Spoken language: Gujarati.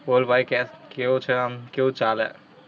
બોલ ભાઇ કેમ? કેવુ છે આમ? કેવુ ચાલે?